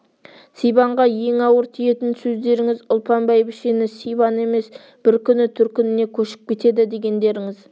сибанға ең ауыр тиетін сөздеріңіз ұлпан бәйбішені сибан емес бір күні төркініне көшіп кетеді дегендеріңіз